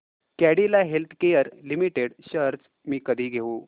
Cadila healthcare limited shares मी कधी घेऊ